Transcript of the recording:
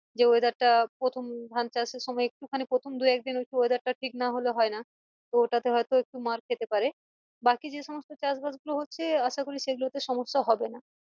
যে weather টা প্রথম ধান চাষের সময় একটু খানি প্রথম দুই একদিন একটু weather ঠিক না হলে হয়না তো ওটাতে হয়তো একটু মার খেতে পারে বাকি যে সমস্ত চাষ বাস গুলো হচ্ছে আশা করি সেগুলো তে সমস্যা হবে না